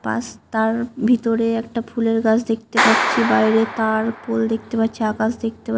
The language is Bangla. পাস তার ভিতরে একটা ফুলের গাছ দেখতে পাচ্ছি। বাইরে তার পোল দেখতে পাচ্ছি। আকাশ দেখতে পা--